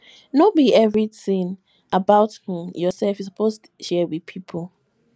no be everytin about um yoursef you suppose share wit pipo